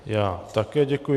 Já také děkuji.